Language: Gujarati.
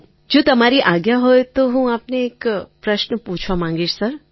તરન્નુમ ખાન જો તમારી આજ્ઞા હોય તો હું આપને એક પ્રશ્ન પૂછવા માગીશ સર